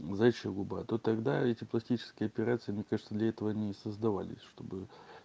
заячья губа то тогда эти пластические операции мне кажется для этого они и создавались чтобы